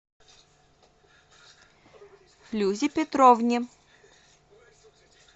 флюзе петровне